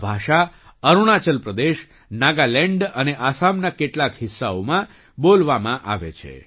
આ ભાષા અરુણાચલ પ્રદેશ નાગાલેન્ડ અને આસામના કેટલાક હિસ્સાઓમાં બોલવામાં આવે છે